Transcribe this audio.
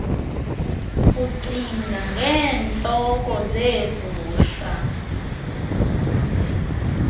ucinga ngeentloko zeegusha